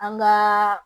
An ka